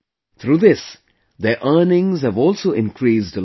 Through this, their earnings have also increased a lot